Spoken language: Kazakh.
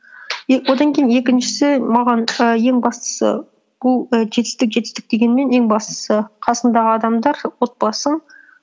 одан кейін екіншісі маған і ең бастысы бұл і жетістік жетістік дегенмен ең бастысы қасыңдағы адамдар отбасың